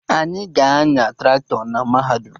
Anyị ga-anya Traktọ na mahadum